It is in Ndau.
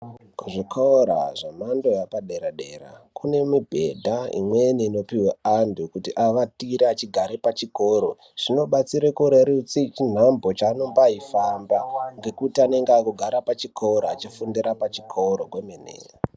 Kuzvikora zvemhando yepadera dera kune mubhedha imweni inopuwe antu kuti awatire echigara pachikoro zvinobatsire kurerutse chinhambo chaanombayifamba ngekuti anenge akugara pachikora achifundira pachikoro kwemene.